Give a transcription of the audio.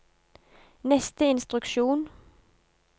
neste instruksjon